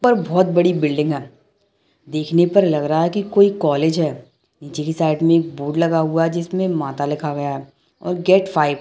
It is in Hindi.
ऊपर बहुत बड़ी बिल्डिंग है देखने पर लग रहा है कि कोई कॉलेज है नीचे की साइड मे एक बोर्ड लगा हुआ जिसमे माता लिखा गया है और गेट फाइव --